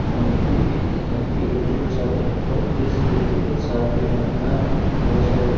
अ दीप की अ की इलेक्ट्रिकल शॉप है और इस इलेक्ट्रिकल शॉप के बा बाहर बहुत सारे--